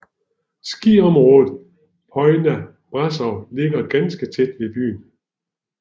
Skiområdet Poiana Brasov ligger ganske tæt ved byen